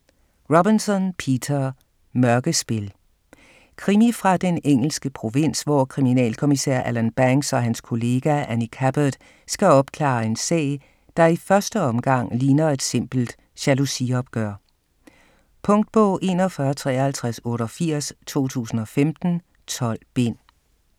Robinson, Peter: Mørkespil Krimi fra den engelske provins, hvor kriminalkommissær Alan Banks og hans kollega, Annie Cabbot, skal opklare en sag, der i første omgang ligner et simpelt jalousiopgør. Punktbog 415388 2015. 12 bind.